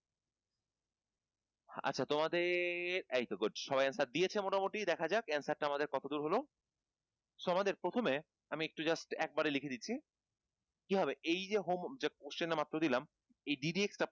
আচ্ছা তোমাদের এই তো good সবাই answer দিয়েছে মোটামুটি দেখা যাক এই answer টা আমাদের কতদূর হলো so আমাদের প্রথমে আমি একটু just একেবারে লিখে দিচ্ছি